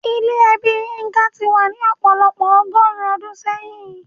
Ìlà ẹbí Yinka ti wà ní ọ̀pọ̀lọpọ̀ ọgọ́rùn-ún ọdún sẹ́yìn.